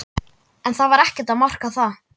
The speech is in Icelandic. En það var ekkert að marka það.